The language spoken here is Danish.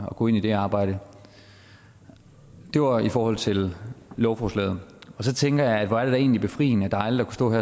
og går ind i det arbejde det var i forhold til lovforslaget så tænker jeg at hvor er det da egentlig befriende dejligt at kunne